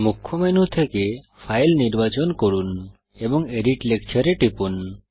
মুখ্য মেনু থেকে ফাইল নির্বাচন করুন এবং এডিট লেকচার এ টিপুন